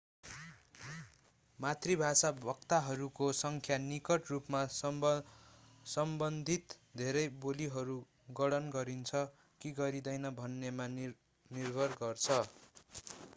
मातृभाषा वक्ताहरूको संख्या निकट रुपमा सम्बन्धित धेरै बोलीहरू गणना गरिन्छ कि गरिँदैन भन्नेमा निर्भर गर्छ